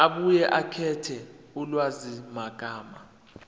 abuye akhethe ulwazimagama